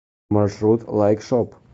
маршрут лайк шоп